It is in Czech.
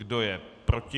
Kdo je proti?